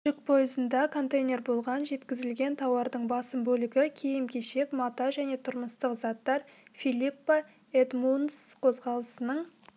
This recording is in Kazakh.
жүк пойызында контейнер болған жеткізілген тауардың басым бөлігі киім-кешек мата және тұрмыстық заттар филиппа эдмундс қозғалысының